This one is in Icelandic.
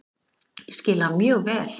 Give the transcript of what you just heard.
Ég skil hann mjög vel.